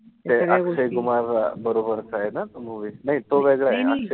ते अक्षय कुमार बरोबरचाय ना? नाई तो वेगळाय.